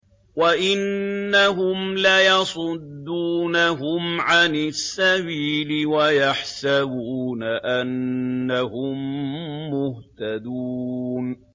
وَإِنَّهُمْ لَيَصُدُّونَهُمْ عَنِ السَّبِيلِ وَيَحْسَبُونَ أَنَّهُم مُّهْتَدُونَ